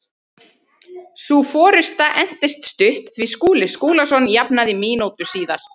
Sú forusta entist stutt því Skúli Skúlason jafnaði mínútu síðar.